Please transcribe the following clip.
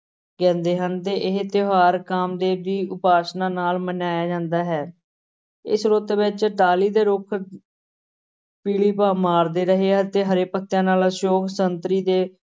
ਕਹਿੰਦੇ ਹਨ ਤੇ ਇਹ ਤਿਉਹਾਰ ਕਾਮ ਦੇਵ ਦੀ ਉਪਾਸ਼ਨਾ ਨਾਲ ਮਨਾਇਆ ਜਾਂਦਾ ਹੈ, ਇਸ ਰੁੱਤ ਵਿਚ ਟਾਹਲੀ ਦੇ ਰੁੱਖ ਪੀਲੀ ਭਾ ਮਾਰਦੇ ਰਹੇ ਆ ਤੇ ਹਰੇ ਪੱਤਿਆਂ ਨਾਲ, ਅਸ਼ੋਕ ਸੰਗਤਰੀ ਤੇ